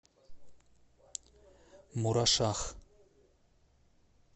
мурашах